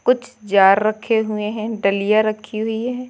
कुछ जार रखे हुए हैं डलियां रखी हुई है।